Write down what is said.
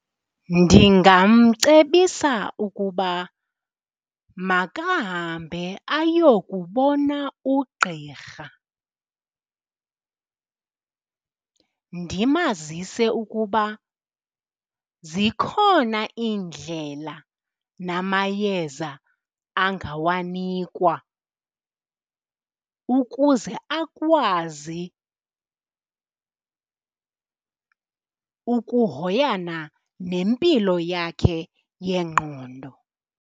Ndingamcebisa ukuba makahambe ayokubona ugqirha. Ndimazise ukuba zikhona iindlela namayeza angawanikwa ukuze akwazi ukuhoyana nempilo yakhe yengqondo.